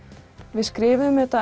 við skrifuðum þetta